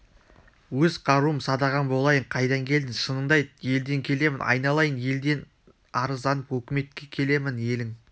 өз қаруым садағаң болайын қайдан келдің шыныңды айт елден келемін айналайын елден арызданып өкіметке келемін елің